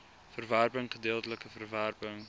verwerping gedeeltelike verwerping